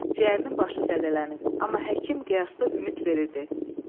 Ciyərinin başı zədələnib, amma həkim qiyasda ümid verirdi.